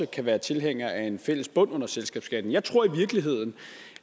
kan være tilhænger af en fælles bund under selskabsskatten jeg tror i virkeligheden